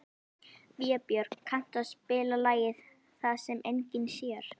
Vébjörg, kanntu að spila lagið „Það sem enginn sér“?